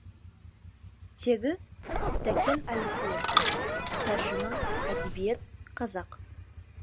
теги тәкен әлімқұлов тәржіма әдебиет қазақ